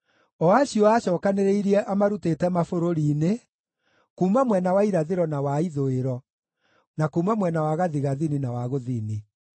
o acio aacookanĩrĩirie amarutĩte mabũrũri-inĩ, kuuma mwena wa irathĩro na wa ithũĩro, na kuuma mwena wa gathigathini na wa gũthini.